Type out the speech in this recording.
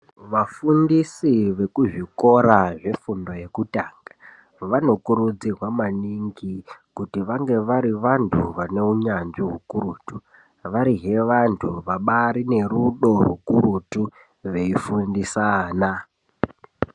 Vafundisi vekuzvikora zvefundo yekutanga vanokurudzirwa maningi kuti ange vari vantu vane unyanzvi ukurutu varihe vantu vabarine rudo rukurutu veifundisa ana .